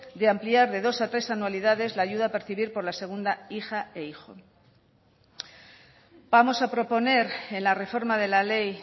de ampliar de dos a tres anualidades la ayuda a percibir por la segunda hija e hijo vamos a proponer en la reforma de la ley